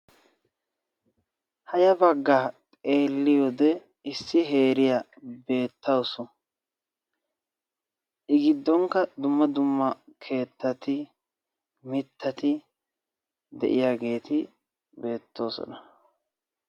ha ya bagaa xeeliyode issi heeray beetees. i gidonkka dumma dumma mitati de'iyageeti beetoosona.